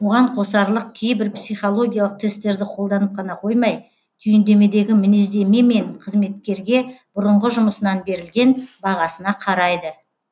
оған қосарлық кейбір психологиялық тесттерді қолданып қана қоймай түйіндемедегі мінездеме мен қызметкерге бұрынғы жұмысынан берілген бағасына қарайды